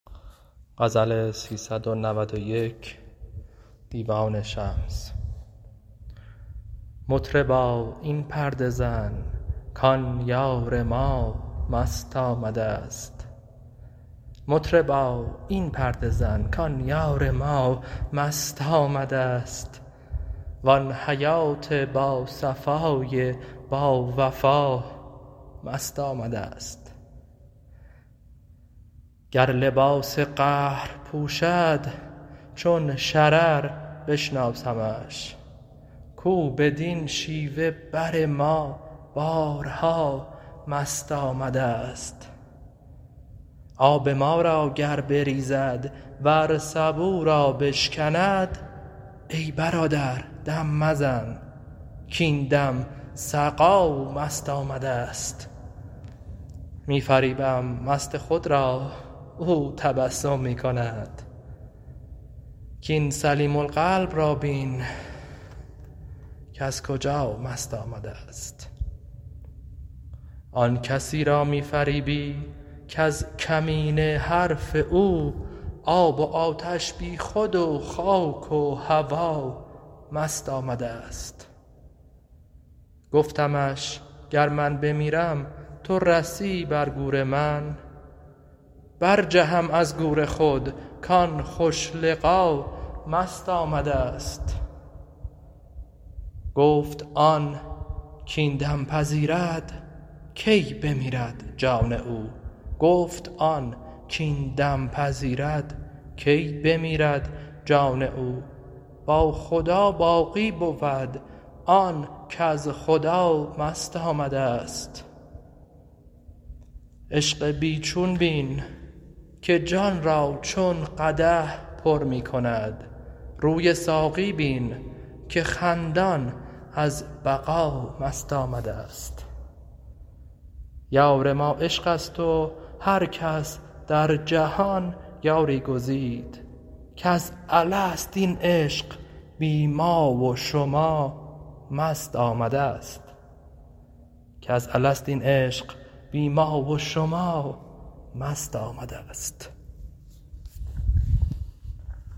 مطربا این پرده زن کان یار ما مست آمدست وان حیات باصفای باوفا مست آمدست گر لباس قهر پوشد چون شرر بشناسمش کو بدین شیوه بر ما بارها مست آمدست آب ما را گر بریزد ور سبو را بشکند ای برادر دم مزن کاین دم سقا مست آمدست می فریبم مست خود را او تبسم می کند کاین سلیم القلب را بین کز کجا مست آمدست آن کسی را می فریبی کز کمینه حرف او آب و آتش بیخود و خاک و هوا مست آمدست گفتمش گر من بمیرم تو رسی بر گور من برجهم از گور خود کان خوش لقا مست آمدست گفت آن کاین دم پذیرد کی بمیرد جان او با خدا باقی بود آن کز خدا مست آمدست عشق بی چون بین که جان را چون قدح پر می کند روی ساقی بین که خندان از بقا مست آمدست یار ما عشق است و هر کس در جهان یاری گزید کز الست این عشق بی ما و شما مست آمدست